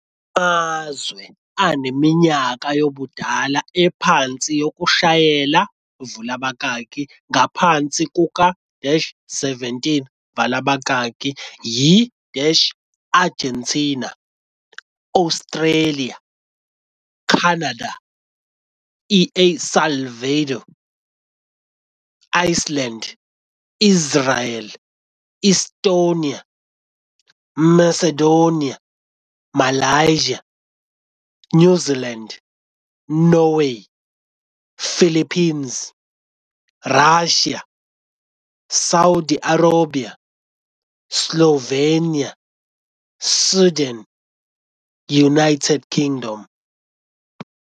Amazwe aneminyaka yobudala ephansi yokushayela, ngaphansi kuka-17, yi-Argentina, Australia, Canada, El Salvador, Iceland, Israel, Estonia, Macedonia, Malaysia, New Zealand, Norway, Philippines, Russia, Saudi Arabia, Slovenia, Sweden, United Kingdom.